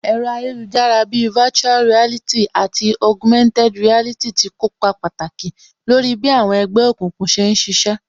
Ẹ̀rọ ayélujára bíi virtual reality àti Augumented reality tí kópa pàtàkì lórí bí àwọn ẹgbẹ́ òkùnkùn ṣe ń ṣiṣẹ́